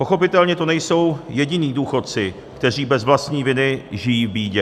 Pochopitelně to nejsou jediní důchodci, kteří bez vlastní viny žijí v bídě.